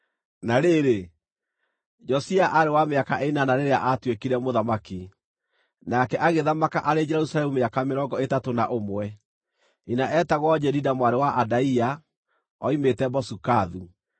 Na rĩrĩ, Josia aarĩ wa mĩaka ĩnana rĩrĩa aatuĩkire mũthamaki, nake agĩthamaka arĩ Jerusalemu mĩaka mĩrongo ĩtatũ na ũmwe. Nyina eetagwo Jedida mwarĩ wa Adaia; oimĩte Bozikathu.